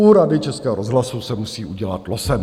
U Rady Českého rozhlasu se musí udělat losem.